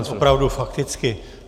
Já jen opravdu fakticky.